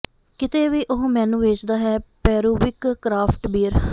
ਕਿਤੇ ਵੀ ਉਹ ਮੈਨੂੰ ਵੇਚਦਾ ਹੈ ਪੇਰੂਵਿਕ ਕਰਾਫਟ ਬੀਅਰ